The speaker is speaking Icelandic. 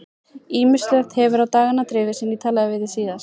Ýmislegt hefur á dagana drifið síðan ég talaði við þig síðast.